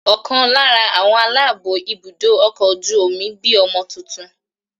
Ọ̀kan lára àwọn aláàbó ibùdó ọkọ̀ ojú omi bí ọmọ tuntun.